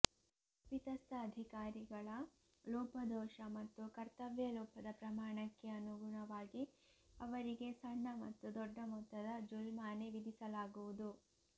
ತಪ್ಪಿತಸ್ಥ ಅಧಿಕಾರಿಗಳ ಲೋಪದೋಷ ಮತ್ತು ಕರ್ತವ್ಯಲೋಪದ ಪ್ರಮಾಣಕ್ಕೆ ಅನುಗುಣವಾಗಿ ಅವರಿಗೆ ಸಣ್ಣ ಮತ್ತು ದೊಡ್ಡ ಮೊತ್ತದ ಜುಲ್ಮಾನೆ ವಿಧಿಸಲಾಗುವುದು